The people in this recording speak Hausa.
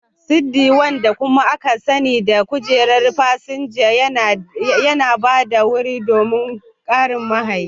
Siddi, wanda kuma aka sani da kujerar fasinja, yana ba da wuri don ƙarin mahayi.